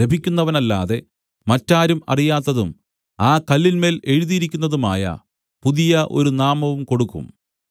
ലഭിക്കുന്നവനല്ലാതെ മറ്റാരും അറിയാത്തതും ആ കല്ലിന്മേൽ എഴുതിയിരിക്കുന്നതുമായ പുതിയ ഒരു നാമവും കൊടുക്കും